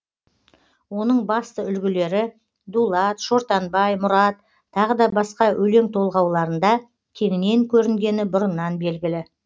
оның басты үлгілері дулат шортанбай мұрат тағы да басқа өлең толғауларында кеңінен көрінгені бұрыннан белгілі